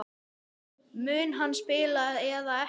Mun hann spila eða ekki?